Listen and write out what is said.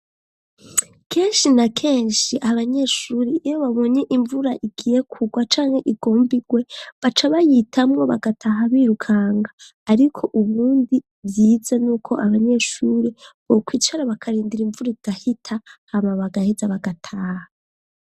Kenshi na kenshi ,abanyeshuri iyo babonye imvura igiye kugwa canke igombigwe, baca bayitamwo bagataha birukanga, ariko ubundi vyize n'uko abanyeshuri bokwicara bakarindira imvura igahita ,hama bagaheza bagataha.